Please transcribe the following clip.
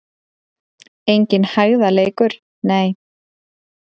Enginn hægðarleikur, nei!